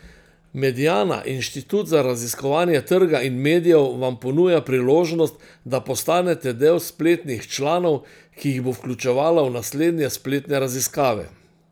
Mediana, inštitut za raziskovanje trga in medijev, vam ponuja priložnost, da postanete del spletnih članov, ki jih bo vključevala v naslednje spletne raziskave.